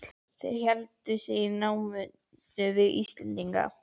Þeir héldu sig í námunda við Íslendingana.